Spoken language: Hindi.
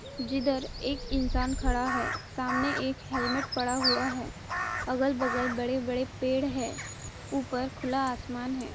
जिधर एक इंसान खडा है सामने एक हेल्मेट पड़ा हुआ है अगल-बगल बड़े-बड़े पेड़ है ऊपर खुला आस्मान है।